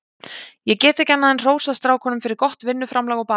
Ég get ekki annað en hrósað strákunum fyrir gott vinnuframlag og baráttu.